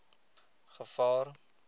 gevaar